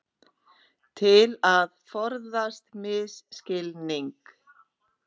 Til að forðast misskilning